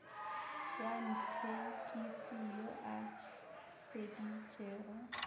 wa thekisi yo a feditšego